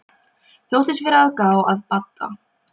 Þóttist vera að gá að Badda.